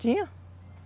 Tinha?